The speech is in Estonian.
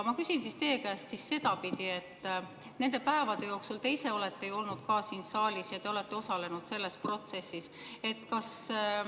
Ma küsin teie käest sedapidi, et nende päevade jooksul te ise olete olnud siin saalis ja selles protsessis osalenud.